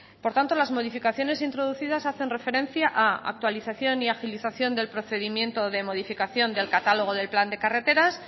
por tanto las modificaciones introducidas hacen referencia a actualización y agilización del procedimiento de modificación del catálogo del plan de carreteras